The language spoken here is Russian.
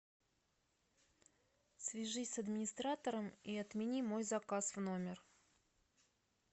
свяжись с администратором и отмени мой заказ в номер